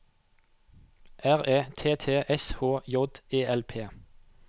R E T T S H J E L P